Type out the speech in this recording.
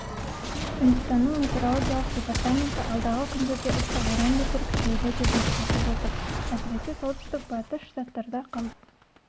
үндістанның метеорологиялық департаменті алдағы күндерде ыстық одан бетер күшейеді деп ескертіп отыр әсіресе солтүстік-батыс штаттарда қауіп